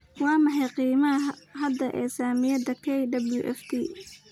Waa maxay qiimaha hadda ee saamiyada kwft?